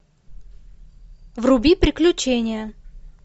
вруби приключения